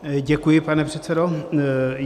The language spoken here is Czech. Děkuji, pane předsedo.